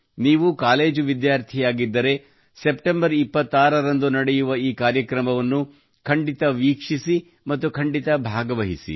ನೀವು ಕಾಲೇಜು ವಿದ್ಯಾರ್ಥಿಯಾಗಿದ್ದರೆ ಸೆಪ್ಟೆಂಬರ್ 26 ರಂದು ನಡೆಯುವ ಈ ಕಾರ್ಯಕ್ರಮವನ್ನು ಖಂಡಿತ ವೀಕ್ಷಿಸಿ ಮತ್ತು ಖಂಡಿತ ಭಾಗವಹಿಸಿ